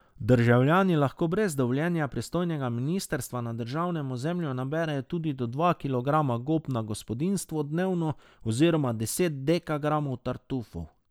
Državljani lahko brez dovoljenja pristojnega ministrstva na državnem ozemlju naberejo tudi do dva kilograma gob na gospodinjstvo dnevno oziroma deset dekagramov tartufov.